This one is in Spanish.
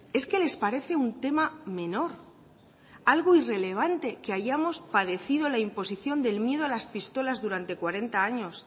es que les parece un tema menor algo irrelevante que hayamos padecido la imposición del miedo a las pistolas durante cuarenta años